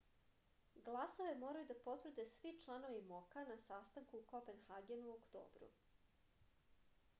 glasove moraju da potvrde svi članovi mok-a na sastanku u kopenhagenu u oktobru